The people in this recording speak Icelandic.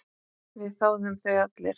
Við þáðum þau allir.